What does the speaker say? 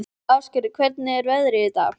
Ásgerður, hvernig er veðrið í dag?